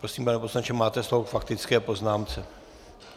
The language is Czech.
Prosím, pane poslanče, máte slovo k faktické poznámce.